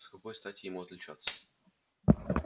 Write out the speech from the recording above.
с какой стати ему отличаться